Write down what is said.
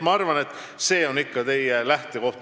Ma arvan, et see on ikka teie lähtekoht.